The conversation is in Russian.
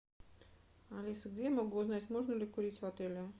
алиса где я могу узнать можно ли курить в отеле